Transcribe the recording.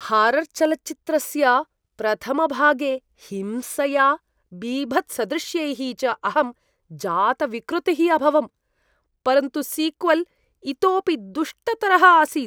हारर्चलच्चित्रस्य प्रथमभागे हिंसया बीभत्सदृश्यैः च अहं जातविकृतिः अभवं, परन्तु सीक्वल् इतोऽपि दुष्टतरः आसीत्।